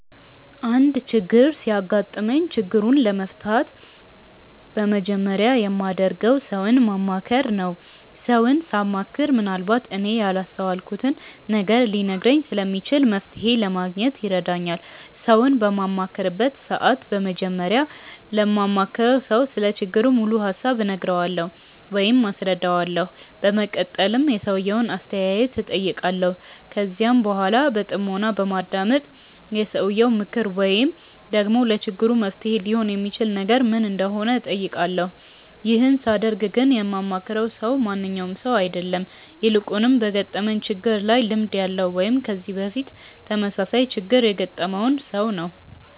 አንድ ችግር ሲያጋጥመኝ ችግሩን ለመፍታት በመጀመሪያ የማደርገው ሰውን ማማከር ነው። ሰውን ሳማክር ምንአልባት እኔ ያላስተዋልኩትን ነገር ሊነግረኝ ስለሚችል መፍተሔ ለማግኘት ይረዳኛል። ሰውን በማማክርበት ሰዓት በመጀመሪያ ለማማክረው ሰው ስለ ችግሩ ሙሉ ሀሳብ እነግረዋለሁ ወይም አስረዳዋለሁ። በመቀጠልም የሰውየውን አስተያየት እጠይቃለሁ። ከዚያም በኃላ በጥሞና በማዳመጥ የሰውየው ምክር ወይም ደግሞ ለችግሩ መፍትሔ ሊሆን የሚችል ነገር ምን እንደሆነ እጠይቃለሁ። ይህን ሳደርግ ግን የማማክረው ሰው ማንኛውም ሰው አይደለም። ይልቁንም በገጠመኝ ችግር ላይ ልምድ ያለው ወይም ከዚህ በፊት ተመሳሳይ ችግር ያገጠመውን ሰው ነው።